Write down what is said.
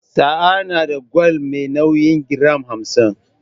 Sa'a na da gwal me nauyin giram hamsin.